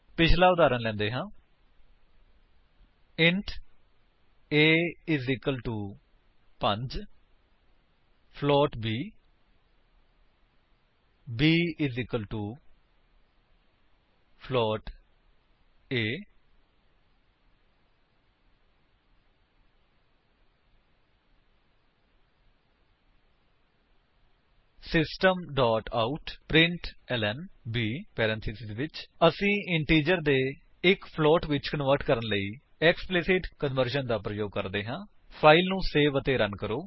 ਪਿੱਛਲਾ ਉਦਾਹਰਣ ਲੈਂਦੇ ਹਨ int a 5 float b b a system out println 160 ਅਸੀ ਇੰਟੀਜਰ ਦੇ ਇੱਕ ਫਲੋਟ ਵਿੱਚ ਕਨਵਰਜਨ ਲਈ ਐਕਸਪਲਿਸਿਟ ਕਨਵਰਜਨ ਦਾ ਪ੍ਰਯੋਗ ਕਰ ਰਹੇ ਹਾਂ ਫਾਇਲ ਨੂੰ ਸੇਵ ਅਤੇ ਰਨ ਕਰੋ